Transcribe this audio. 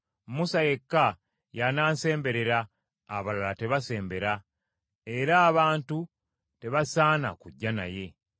Musa yekka y’anaansemberera; abalala tebasembera. Era abantu tebasaana kujja naye.”